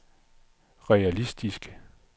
realistisk